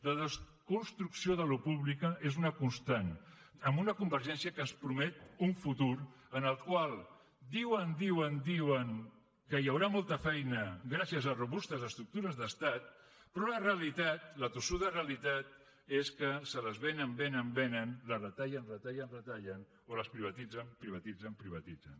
la desconstrucció del que és públic és una constant amb una convergència que ens promet un futur en el qual diuen diuen diuen que hi haurà molta feina gràcies a robustes estructures d’estat però la realitat la tossuda realitat és que se les venen venen venen les retallen retallen retallen o les privatitzen privatitzen privatitzen